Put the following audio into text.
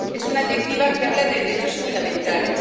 es una Directiva que habla de derechos fundamentales